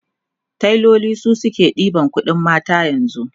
tailoli su suke ɗeban ƙuɗin mata yanzu